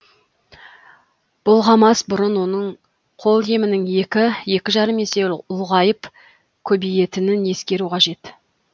бұлғамас бұрын оның қолемінің екі екі жарым есе ұлғайып көбейетінін ескеру қажет